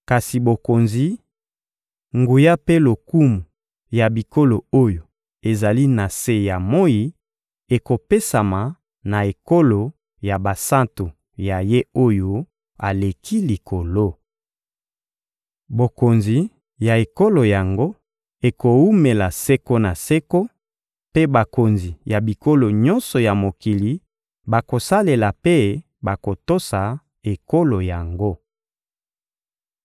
Kasi bokonzi, nguya mpe lokumu ya bikolo oyo ezali na se ya moyi ekopesama na ekolo ya basantu ya Ye-Oyo-Aleki-Likolo. Bokonzi ya ekolo yango ekowumela seko na seko, mpe bakonzi ya bikolo nyonso ya mokili bakosalela mpe bakotosa ekolo yango.